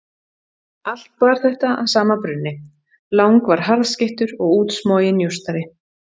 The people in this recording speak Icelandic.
Allt bar þetta að sama brunni, Lang var harðskeyttur og útsmoginn njósnari.